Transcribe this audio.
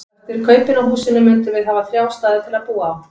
Og eftir kaupin á húsinu mundum við hafa þrjá staði til að búa á.